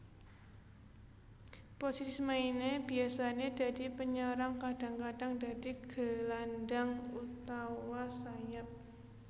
Posisi maine biasane dadi penyerang kadang kadang dadi gelandang utawa sayap